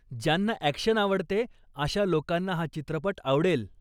ज्यांना ॲक्शन आवडते अशा लोकांना हा चित्रपट आवडेल.